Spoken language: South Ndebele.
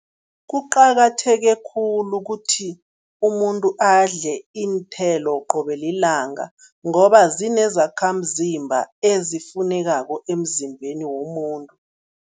Kuqakatheke khulu ukuthi umuntu adle iinthelo qobe lilanga ngoba zinezakhamzimba ezifunekako emzimbeni womuntu.